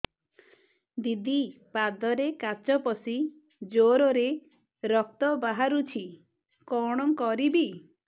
ଦିଦି ପାଦରେ କାଚ ପଶି ଜୋରରେ ରକ୍ତ ବାହାରୁଛି କଣ କରିଵି